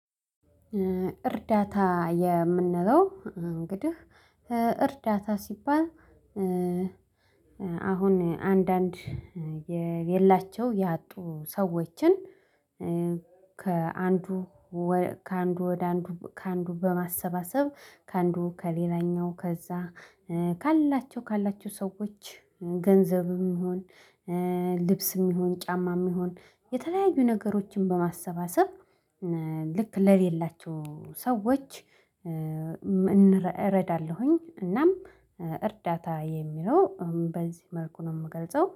እርዳታ የምንለው እንግዲህ እርዳታ ሲባል። አሁን አንዳንድ የሌላቸው ያጡ ሰዎችን ከአንዱ ከአንዱ ወደ አንዱ ከአንዱ በማሰባሰብ ከአንዱ ከሌላኛው ከዛ ካላቸው ካላቸው ሰዎች ገንዘብም ይሁን ልብስም ይሁን ጫማም ይሁን የተለያዩ ነገሮችን በማሰባሰብ ልክ ሐለሌላቸው ሰዎች። እረዳለሁኝ እናም እርዳታ የሚለው በዚህ መልኩ ነው የምገልጸው